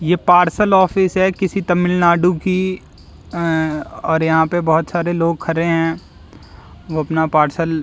ये parcel office है किसी तमिलनाडु की और यहां पर बहुत सारे लोग खड़े हैं वो अपना पार्सल --